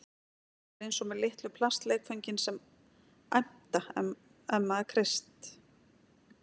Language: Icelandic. Þetta er eins og með litlu plastleikföngin sem æmta ef maður kreist